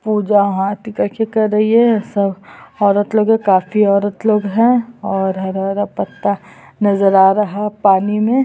पूजा हाथ दिखाके कर रही है सब औरत लोग काफी औरत लोग है और हरा- हरा पत्ता नजर आ रहा पानी में --